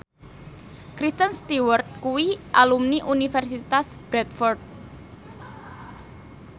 Kristen Stewart kuwi alumni Universitas Bradford